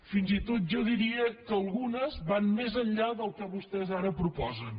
fins i tot jo diria que algunes van més enllà del que vostès ara propo·sen